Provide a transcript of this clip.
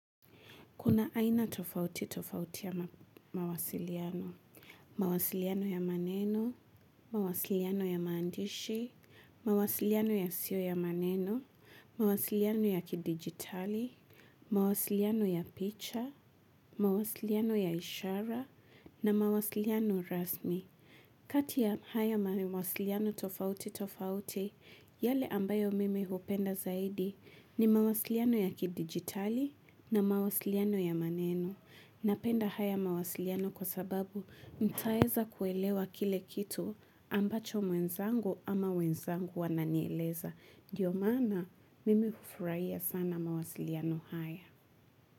Kuna aina tofauti tofauti ya mawasiliano, mawasiliano ya maneno, mawasiliano ya maandishi, mawasiliano yasio ya maneno, mawasiliano ya kidigitali, mawasiliano ya picha, mawasiliano ya ishara na mawasiliano rasmi. Kati ya haya mawasiliano tofauti tofauti, yale ambayo mimi hupenda zaidi ni mawasiliano ya kidigitali na mawasiliano ya maneno. Napenda haya mawasiliano kwa sababu ntaweza kuelewa kile kitu ambacho mwenzangu ama wenzangu wananieleza. Ndio maana mimi hufuraiya sana mawasiliano haya.